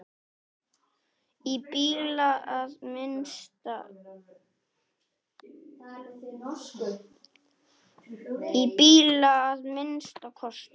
Í bili að minnsta kosti.